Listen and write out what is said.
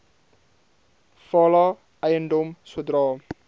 fala eiendom sodra